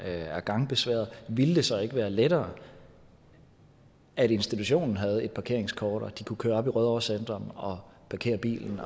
er gangbesværede ville det så ikke være lettere at institutionen havde et parkeringskort og at de kunne køre op i rødovre centrum og parkere bilen